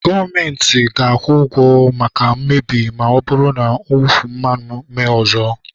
gọọmentị ga-akwụ ụgwọ maka mmebi ma ọ bụrụ na mwụfu mmanụ emee ọzọ